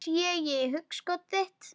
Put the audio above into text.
Sé í hugskot þitt.